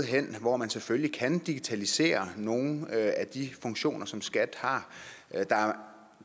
hvor man selvfølgelig kan digitalisere nogle af de funktioner som skat har der er